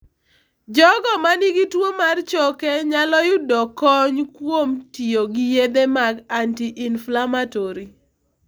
Jogo ma nigi tuwo mar choke nyalo yudo kony kuom tiyo gi yedhe mag anti- inflammatory.